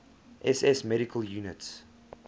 ss medical units